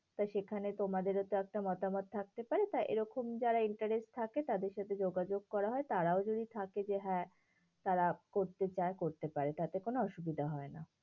তো সেখানে তোমাদেরও তো একটা মতামত থাকতে পারে, তা এরকম যারা interest থাকে তাদের সাথে যোগাযোগ করা হয়। তারাও যদি থাকে যে হ্যাঁ, তারা করতে চায় করতে পারে তাতে কোনো অসুবিধা হয় না।